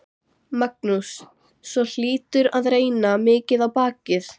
Magnús: Svo hlýtur að reyna mikið á bakið?